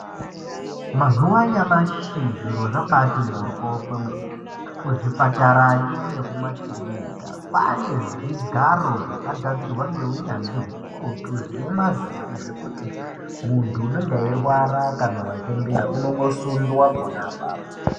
Mazuva anyamashi zviro zvabati moryo kwemene kuzvipatarayo nekumakiriniki kwaane zvigaro zvakagadzirwa ngeunyanzvi ukurutu zvine mavhiri zvekuti munhu unenge echirwara kana wachembera uno ngoswunwa ipapo.